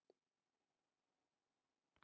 Mynd af Hippókratesi er af síðunni Hippocrates.